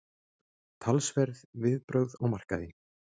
Talsverð viðbrögð á markaði